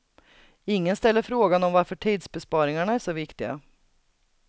Ingen ställer frågan om varför tidsbesparingarna är så viktiga.